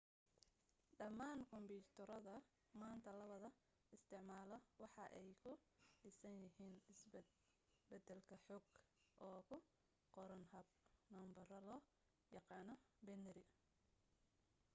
dhammaan kumbiyuutarada maanta lawada isticmaalo waxa ay ku dhisan yihiin isbed-bedelka xog oo ku qoran hab nambaro loo yaqaana binary